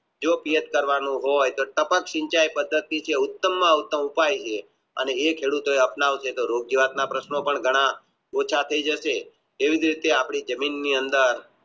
જો પેટ કરવાનું હોય તો ટપક ચિંચાય પદ્ધતિ જે ઉત્તમ માં ઉત્તમ ઉપાય છે અને એ ખેડૂતો એ અપનાવશે તો પણ ઘણા ઓછા થયા જશે એવી જ રીતે આપણી જમીન ની અંદર